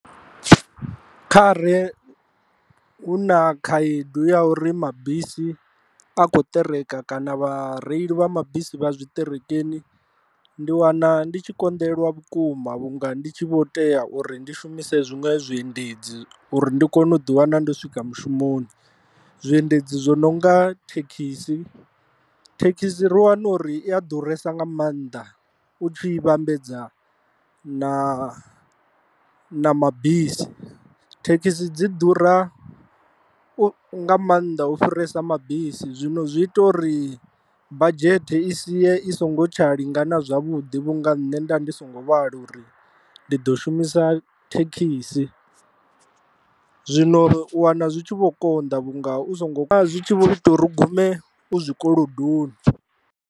Kha re hu na khaedu ya uri mabisi a kho ṱereka kana vha reili vha mabisi vha zwiṱerekeni, ndi wana ndi tshi konḓelelwa vhukuma vhunga ndi tshi vho tea uri ndi shumise zwiṅwe zwiendedzi uri ndi kone u ḓi wana ndo swika mushumoni, zwiendedzi zwo no nga thekhisi, thekhisi ri wana uri i a ḓuresa nga maanḓa u tshi vhambedza na na mabisi thekhisi dzi ḓura nga maanḓa u fhirisa mabisi zwino zwi ita uri badzhete i sie i songo tsha lingana zwavhuḓi vhunga nṋe nda ndi songo vhala uri ndi ḓo shumisa thekhisi. Zwino u wana zwi tshi vho konḓa vhunga u songo zwi tshi vho ita uri gume u zwikolodoni.